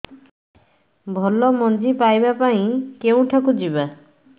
ଭଲ ମଞ୍ଜି ପାଇବା ପାଇଁ କେଉଁଠାକୁ ଯିବା